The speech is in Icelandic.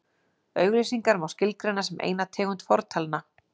Auglýsingar má skilgreina sem eina tegund fortalna.